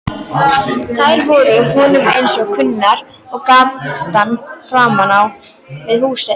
Þær voru honum eins kunnar og gatan framan við húsið.